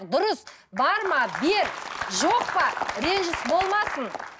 дұрыс бар ма бер жоқ па ренжіс болмасын